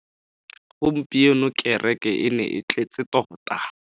Gompieno kereke e ne e tletse tota.